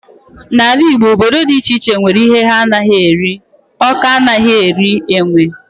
N'ala Igbo, obodo dị iche iche nwere ihe ha anaghị eri, Awka anaghị eri enwe.